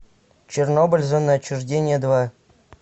чернобыль зона отчуждения два